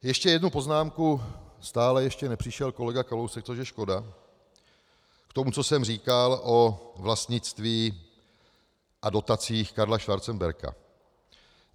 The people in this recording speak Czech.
Ještě jednu poznámku - stále ještě nepřišel kolega Kalousek, což je škoda - k tomu, co jsem říkal o vlastnictví a dotacích Karla Schwarzenberga.